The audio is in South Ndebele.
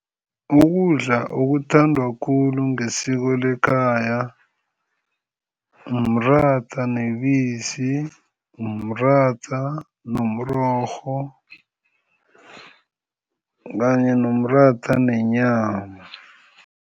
Ukudla okuthandwa khulu ngesiko lekhaya umratha nebisi, umratha nomrorho kanye nomratha nenyama.